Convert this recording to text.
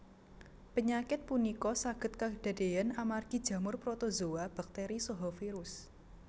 Penyakit punika saged kadadean amargi jamur protozoa bakteri saha virus